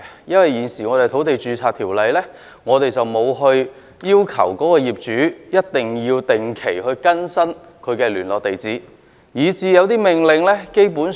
因為現行的《土地註冊條例》並沒有要求業主一定要定期更新他的聯絡地址，以至有些命令基本上......